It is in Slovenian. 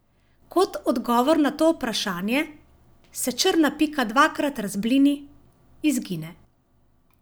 Kot odgovor na to vprašanje se črna pika dvakrat razblini, izgine.